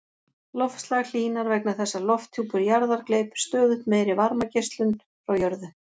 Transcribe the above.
Loftslag hlýnar vegna þess að lofthjúpur jarðar gleypir stöðugt meiri varmageislun frá jörðu.